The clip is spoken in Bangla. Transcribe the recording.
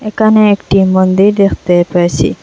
এখানে একটি মন্দির দেখতে পাইসি।